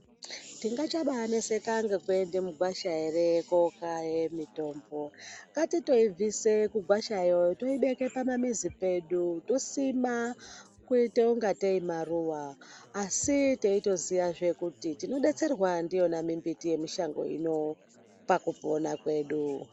Tingabai chai neseka ngeku ende mugwasha ere kokaye mitombo ngati toi bvise kugwasha yoo toi beke pama mizi pedu tosima kuita kunga tee maruva asi teito ziya zvee kuti tino detserwa ndiyona mi mbiti ye mushango ino paku pona kwedu.